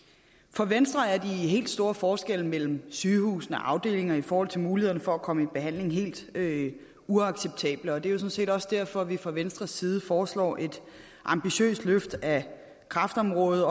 for venstre er de helt store forskelle mellem sygehusafdelingerne i forhold til mulighederne for at komme i behandling helt uacceptable og det er jo sådan set også derfor vi fra venstres side foreslår et ambitiøst løft af kræftområdet